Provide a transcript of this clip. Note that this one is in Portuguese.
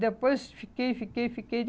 E depois fiquei, fiquei, fiquei.